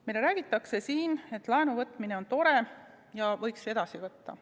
Meile räägitakse siin, et laenu võtta on tore ja võiks edasi võtta.